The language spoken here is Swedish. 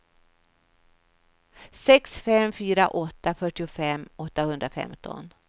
sex fem fyra åtta fyrtiofem åttahundrafemton